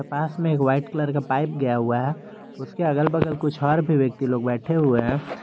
पास में एक white colour का पाइप गया हुआ है उसके अगल बगल कुछ और भी व्यक्ति लोग बैठे हुए हैं।